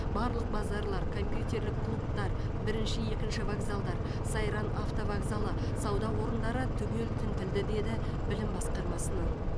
барлық базарлар компьютерлік клубтар бірінші екінші вокзалдар сайран автовокзалы сауда орындары түгел тінтілді деді білім басқармасынан